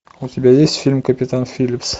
у тебя есть фильм капитан филлипс